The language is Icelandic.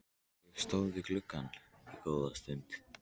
Ég stóð við gluggann góða stund.